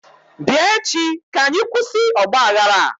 bia echi ka anyi kwusi ogbaghara a!